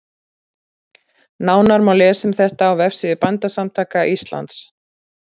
Nánar má lesa um þetta á vefsíðu Bændasamtaka Íslands.